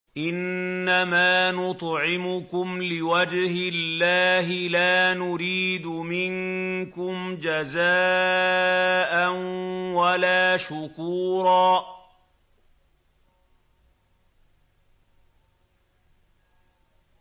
إِنَّمَا نُطْعِمُكُمْ لِوَجْهِ اللَّهِ لَا نُرِيدُ مِنكُمْ جَزَاءً وَلَا شُكُورًا